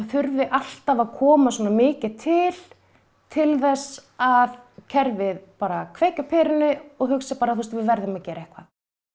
þurfi alltaf að koma svona mikið til til þess að kerfið kveiki á perunni og hugsi við verðum að gera eitthvað